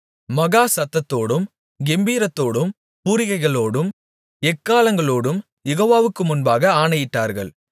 மகா சத்தத்தோடும் கெம்பீரத்தோடும் பூரிகைகளோடும் எக்காளங்களோடும் யெகோவாவுக்கு முன்பாக ஆணையிட்டார்கள்